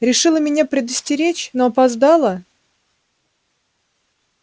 решила меня предостеречь но опоздала